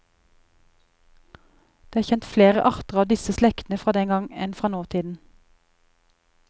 Det er kjent flere arter av disse slektene fra den gang enn fra nåtiden.